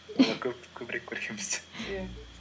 көбірек көрген бізден иә